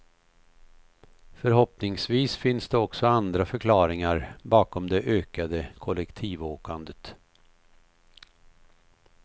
Förhoppningsvis finns det också andra förklaringar bakom det ökade kollektivåkandet.